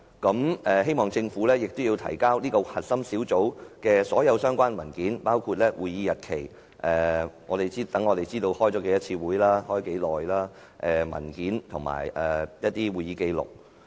我們希望政府提交該核心小組的所有相關文件，包括會議日期——讓我們知道它開了多少次會議和每次會議的時間——會議文件及會議紀錄。